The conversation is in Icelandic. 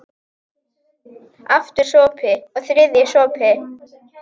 Aftur sopi, og þriðji sopi.